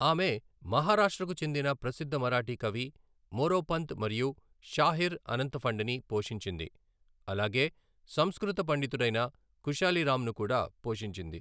ఆమె మహారాష్ట్రకు చెందిన ప్రసిద్ధ మరాఠీ కవి మోరోపంత్ మరియు షాహిర్ అనంతఫండిని పోషించింది అలాగే సంస్కృత పండితుడైన ఖుషాలి రామ్ను కూడా పోషించింది.